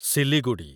Siliguri